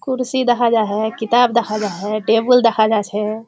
कुर्सी देखा जाछे किताब देखा जाछे टेबूल देखा जाछे।